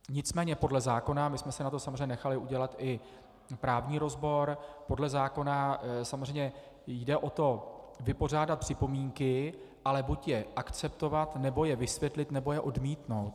Nicméně podle zákona, my jsme si na to samozřejmě nechali udělat i právní rozbor, podle zákona samozřejmě jde o to vypořádat připomínky, ale buď je akceptovat, nebo je vysvětlit, nebo je odmítnout.